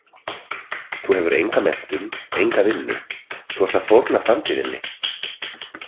Þú hefur enga menntun, enga vinnu, þú ert að fórna framtíð þinni.